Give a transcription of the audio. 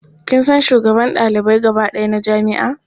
Kin san shugaban ɗalibai gaba ɗaya na jami'a?